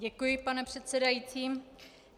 Děkuji, pane předsedající.